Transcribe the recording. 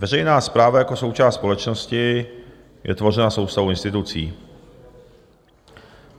Veřejná správa jako součást společnosti je tvořena soustavou institucí.